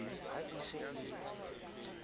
ha e se e le